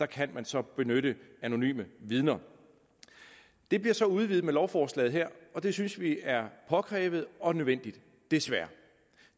kan man så benytte anonyme vidner det bliver så udvidet med lovforslaget her og det synes vi er påkrævet og nødvendigt desværre